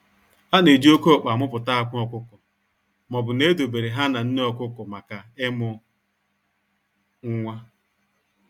A na-eji oke ọkpa a muputa akwa ọkụkọ maobu na edo bere ha na nne ọkụkọ maka ịmu nwa.